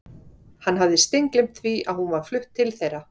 Hann hafði steingleymt því að hún var flutt til þeirra.